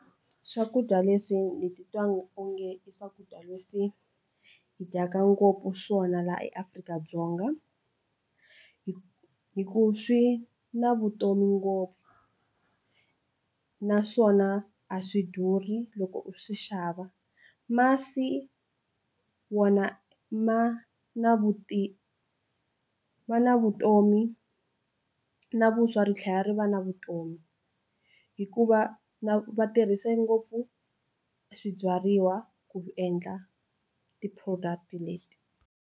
Swakudya leswi ni titwa onge i swakudya leswi hi dyaka ngopfu swona laha eAfrika-Dzonga hi hi ku swi na vutomi ngopfu naswona a swi durhi loko u swi xava masi wona ma na vutivi vutomi na vuswa ri tlhela ri va na vutomi hikuva va tirhisa ngopfu swibyariwa ku endla ti-product leti.